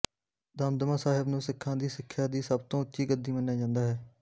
ਦਮਦਮਾ ਸਾਹਿਬ ਨੂੰ ਸਿੱਖਾਂ ਦੀ ਸਿੱਖਿਆ ਦੀ ਸਭ ਤੋਂ ਉੱਚੀ ਗੱਦੀ ਮੰਨਿਆ ਜਾਂਦਾ ਹੈ